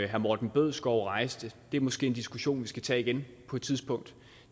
herre morten bødskov rejste det er måske en diskussion vi skal tage igen på et tidspunkt